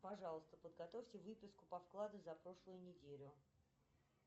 пожалуйста подготовьте выписку по вкладу за прошлую неделю